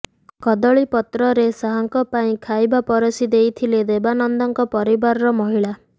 କଦଳୀ ପତ୍ର ଶାହଙ୍କ ପାଇଁ ଖାଇବା ପରସି ଦେଇଥିଲେ ଦେବାନନ୍ଦଙ୍କ ପରିବାରର ମହିଳା